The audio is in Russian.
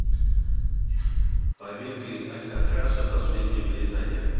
побег из алькатраса последнее признание